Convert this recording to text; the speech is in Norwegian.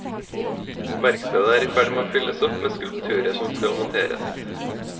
Verkstedet er i ferd med å fylles opp med skulpturer som skal monteres.